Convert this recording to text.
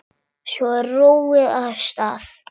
Svo er róið af stað.